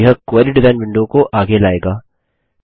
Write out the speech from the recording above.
यह query design window को आगे लाएगा